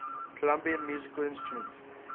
colombian musical instruments